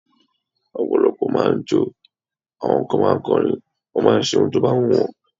Ọ̀pọ̀lọpọ̀ máà ń jọ́, àwọn kan ma ń kọrin, wọ́n máà ń ṣe ohun tó bá wù wọ́n.